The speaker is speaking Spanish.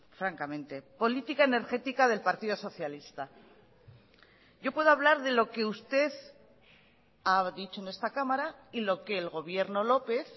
francamente política energética del partido socialista yo puedo hablar de lo que usted ha dicho en esta cámara y lo que el gobierno lópez